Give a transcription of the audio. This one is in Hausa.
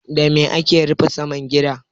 Da me ake rufe saman gida?